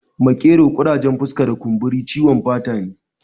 Makero, ƙurajen fuska da kumburi ciwon fata ne